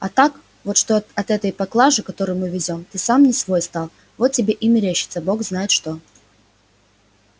а так вот что от этой поклажи которую мы везём ты сам не свой стал вот тебе и мерещится бог знает что